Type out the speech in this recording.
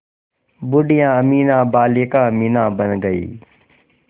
बूढ़िया अमीना बालिका अमीना बन गईं